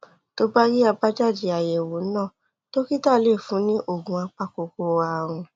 tó bá rí àbájáde àyẹ̀wò náà dókítà lè fún un ní oògùn apakòkòrò ààrùn